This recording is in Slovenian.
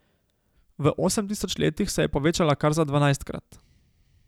V osem tisoč letih se je povečala kar za dvanajstkrat.